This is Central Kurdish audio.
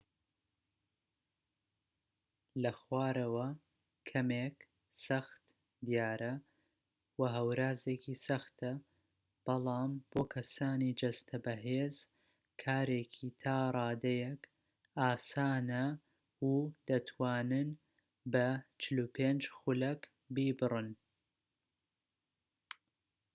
لە خوارەوە کەمێك سەخت دیارە، وە هەورازێکی سەختە، بەڵام بۆ کەسانی جەستە بەهێز کارێکی تا ڕادەیەك ئاسانە و دەتوانن بە ٤٥ خولەك بیبڕن